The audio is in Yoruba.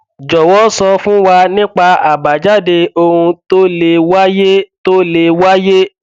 jọwọ sọ fún wa nípa àbájáde ohun tó le wàyé tó le wàyé